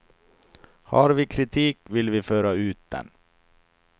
Har vi kritik vill vi föra ut den.